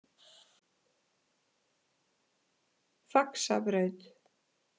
Faxabraut